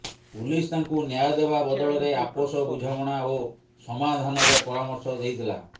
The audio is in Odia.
ପୁଲିସ ତାଙ୍କୁ ନ୍ୟାୟ ଦେବା ବଦଳରେ ଆପୋସ ବୁଝାମଣା ଓ ସମାଧାନର ପରାମର୍ଶ ଦେଇଥିଲା